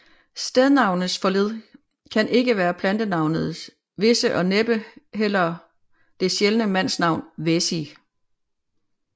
Stednavnets forled kan ikke være plantenavnet visse og næppe heller det sjældne mandsnavn Wæsi